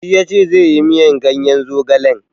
Shi yace zai yi miyar ganyen zogalen.